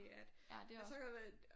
Ja det er også